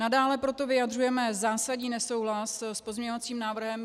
Nadále proto vyjadřujeme zásadní nesouhlas s pozměňovacím návrhem.